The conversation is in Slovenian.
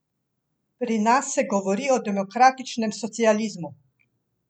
Pri nas se govori o demokratičnem socializmu!